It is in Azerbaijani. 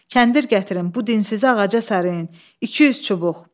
Kəndir gətirin, bu dinsizi ağaca sarıyın, 200 çubuq.